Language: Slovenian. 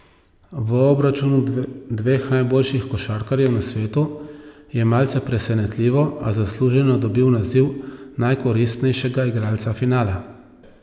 V obračunu dveh najboljših košarkarjev na svetu je malce presenetljivo, a zasluženo dobil naziv najkoristnejšega igralca finala.